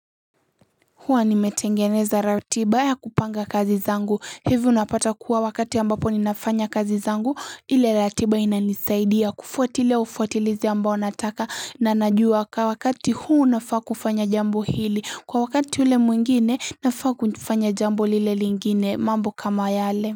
Huwa nimetengeneza ratiba ya kupanga kazi zangu hivi unapata kuwa wakati ambapo ninafanya kazi zangu ile ratiba inanisaidia kufuatilia ufuatilizi ambao nataka na najua kwa wakati huu nafaa kufanya jambo hili kwa wakati ule mwingine nafaa kufanya jambo lile lingine mambo kama yale.